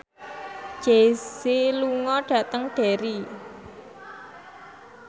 Jay Z lunga dhateng Derry